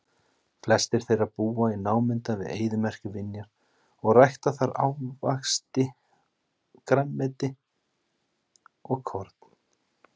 Flestir þeirra búa í námunda við eyðimerkurvinjar og rækta þar ávaxti, grænmeti og korn.